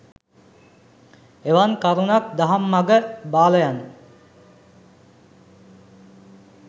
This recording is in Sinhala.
එවන් කරුනක් දහම් මග බාලයන්